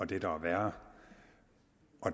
det der er værre